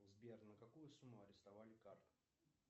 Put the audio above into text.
сбер на какую сумму арестовали карт